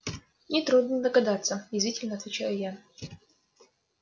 нетрудно догадаться язвительно отвечаю я